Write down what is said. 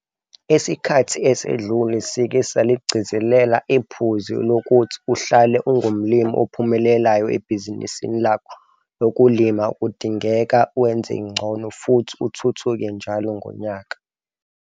Esikhathi esedlule sike saligcizelela iphuzu lokuthi uhlale ungumlimi ophumelelayo ebhizinisini lakho lokulima kudingeka wenze ngcono futhi uthuthuke njalo ngonyaka.